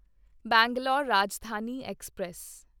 Bangalore Rajdhani express